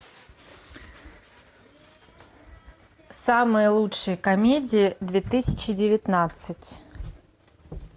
самые лучшие комедии две тысячи девятнадцать